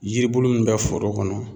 Yiribulu min bɛ foro kɔnɔ